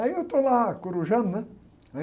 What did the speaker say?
Aí eu estou lá corujando, né?